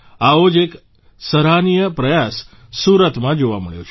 આવો જ એક સહારનીય પ્રયાસ સુરતમાં જોવા મળ્યો છે